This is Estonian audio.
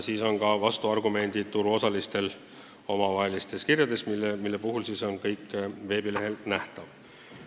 Ka vastuargumendid turuosaliste omavahelistes kirjades on veebilehel nähtavad.